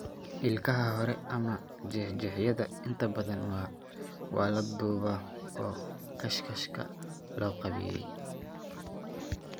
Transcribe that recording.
Ilkaha hore, ama jeexjeexyada, inta badan waa la duubaa oo 'kaashashka loo qaabeeyey'.